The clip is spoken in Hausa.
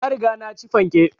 Na riga na ci fanke